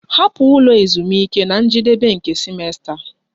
Hapụ ụlọ ezumike na njedebe nke simesta!